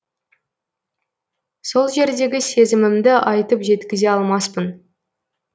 сол жердегі сезімімді айтып жеткізе алмаспын